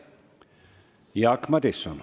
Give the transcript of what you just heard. Jaak Madison.